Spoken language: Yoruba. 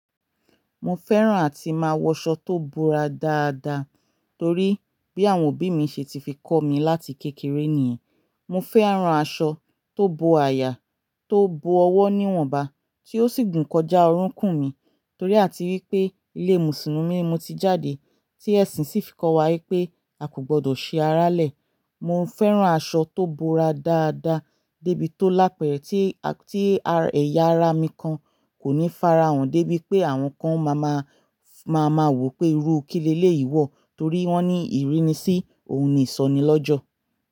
Mo fẹ́ràn àti máa wọ aṣọ tó búra dáadáa torí bí àwọn òbí mi ṣe ti fi kọ́ mi láti kékeré nìyẹn. Mo fẹ́ran aṣọ tó bo àyà, tó bo ọwọ́ níwọ̀nba tí ó sì gùn kọjá ọrúkùn mi torí àti wípé ilé Mùsùlùmí mo ti jáde tí ẹ̀sìn sì fi kọ́ wa wípé a kò gbọdọ̀ ṣe arálẹ̀. Mo ń fẹ́ran aṣọ tó búra dáadáa débi tó lápẹẹ́ tí, tí ẹ̀yà ara mi kan kò ní farahàn dé bí pé àwọn kan máa ma, máa ma wò pé irú ìkílé léyí wọ̀ torí wọ́n ní ìrínisí ohun ni ìsọnilọ́jọ̀.